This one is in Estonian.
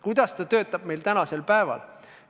Kuidas ta töötab meil tänasel päeval?